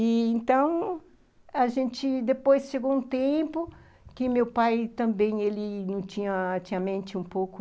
E então, a gente depois chegou um tempo que meu pai também, ele não tinha, tinha a mente um pouco